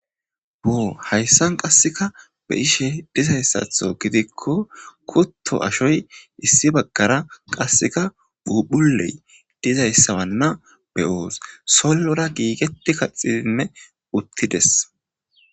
Oo hayssan qasseka be ishe dizayssatho gidikko kutto ashoy issi baggara qasseka bupuley dizayssabanna beyoos sollora giigeti kaxidinne uttides.